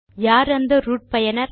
யார் அந்த ரூட் பயனர்